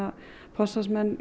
forsvarsmenn